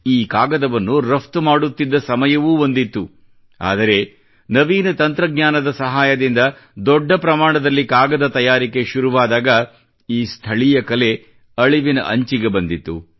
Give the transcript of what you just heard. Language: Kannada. ಈ ಕಾಗದವನ್ನು ರಫ್ತು ಮಾಡುತ್ತಿದ್ದ ಸಮಯವೂ ಒಂದಿತ್ತು ಆದರೆ ನವೀನ ತಂತ್ರಜ್ಞಾನದ ಸಹಾಯದಿಂದ ದೊಡ್ಡ ಪ್ರಮಾಣದಲ್ಲಿ ಕಾಗದ ತಯಾರಿಕೆ ಶುರುವಾದಾಗ ಈ ಸ್ಥಳೀಯ ಕಲೆ ಅಳಿವಿನ ಅಂಚಿಗೆ ಬಂದಿತು